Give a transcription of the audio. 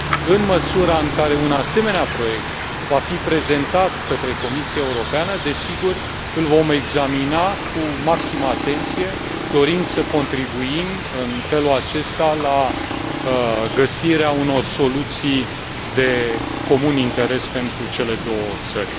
În măsura în care un asemenea proiect va fi prezentat către Comisia Europeană, desigur, îl vom examina cu maximă atenție. Dorim să contribuim în felul acesta la găsirea unor soluții de interes comun pentru cele două țări.